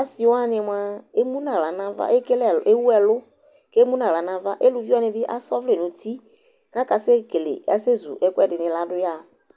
Asɩ wanɩ mʋa emu nʋ aɣla nʋ ava, ekele ɛl ewu ɛlʋ kʋ emu nʋ aɣla nʋ ava Eluvi wanɩ bɩ asa ɔvlɛ nʋ uti kʋ akasɛkele, asɛzu ɛkʋɛdɩnɩ la dʋ yaɣa